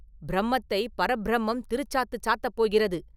பிரம்மத்தைப் பரப்பிரம்மம் திருச்சாத்துச் சாத்தப் போகிறது.